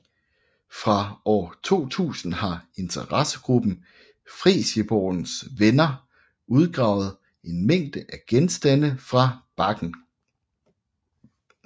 Fra år 2000 har interessegruppen Fresjeborgens Venner udgravet en mængde af genstande fra bakken